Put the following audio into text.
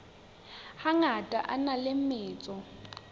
hangata a na le metso